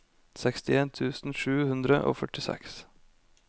sekstien tusen sju hundre og førtiseks